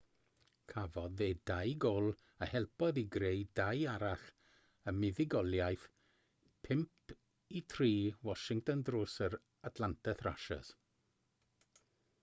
cafodd e 2 gôl a helpodd i greu 2 arall ym muddugoliaeth 5-3 washington dros yr atlanta thrashers